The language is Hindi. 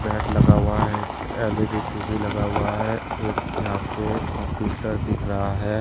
लगा हुआ एक एल_ई_डी टी_वी लगा हुआ है एक यहाँ पे कंप्यूटर दिख रहा है।